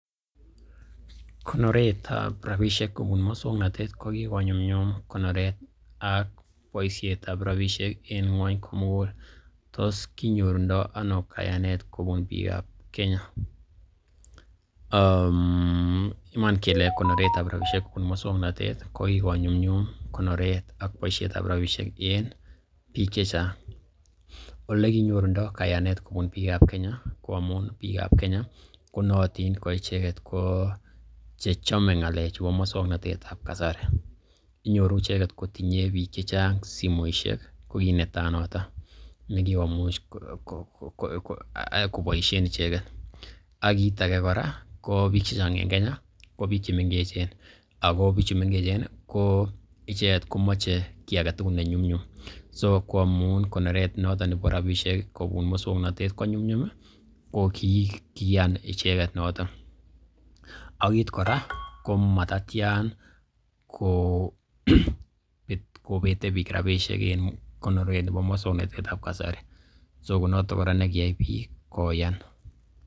Konoretab rabisiek kobun muswagnatet kokikonyumnyum konoret ak boisietab rabisiek en ng'wony komugul, tos kinyorundo ano kayanet kobun biikab kenya? Iman kele konoret ab rabishek kobun muswaknatet ko kigonyumnyum konoret ak bosietab rabishek en biik che chang. Ole kinyorundo kayanet kobun biikab Kenya, ko amun biikab Kenya ko nootin ko icheget ko che chome ng'alechu bo muswaknatet ab kasari. Inyoru icheget kotinye biik che chang simoishek ko kiit netai noto nekigokomuch koboishen icheget. Ak kiit age kora ko biik che chnag en Kenya ko biik che mengechen ago bichu mengechen ko icheget komoche kiy age tugul ne nyumnyum. Ko amun konoret noton nebo rabishek kobun muswaknatet ko nyumnyum ko kiiyan icheget noton ak kiit kora ko matatyan kobete biik rbaishek en muswaknatet nebo kasari, so konoto kora nakiyai biik koyan.